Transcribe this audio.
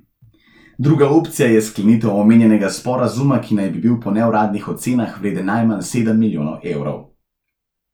Druga opcija je sklenitev omenjenega sporazuma, ki naj bi bil po neuradnih ocenah vreden najmanj sedem milijonov evrov.